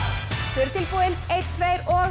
þau eru tilbúin einn tveir og